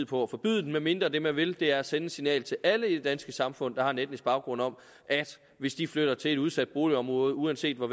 på at forbyde den medmindre det man vil er at sende et signal til alle i det danske samfund der har en etnisk baggrund om at hvis de flytter til et udsat boligområde uanset hvor